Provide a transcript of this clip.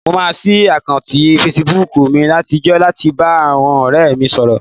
Mo máa ṣí àkáùntì fesibúùkù mi àtijọ́ láti lè bá àwọn ọ̀rẹ́ mi sọ̀rọ̀